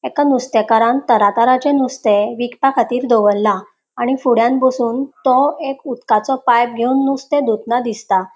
एका नुस्त्याकारान तरा तराचे नुसते वीकपा खातीर दोवोरला आणि फुडयान बोसोन तो एक उदकचो पाइप घेवन नुस्ते धुतना दिसता.